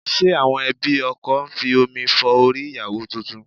Ṣe àwọn ẹbí ọkọ ń fi omi fọ orí ìyàwó tuntun?